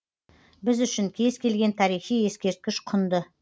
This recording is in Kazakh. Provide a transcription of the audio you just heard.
біз үшін кез келген тарихи ескерткіш құнды